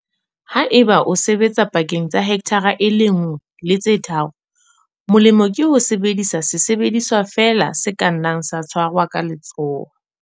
Ha eba o sebetsa pakeng tsa hekthara e le nngwe le tse tharo, molemo ke ho sebedisa sesebediswa feela se ka nnang sa tshwarwa ka letsoho.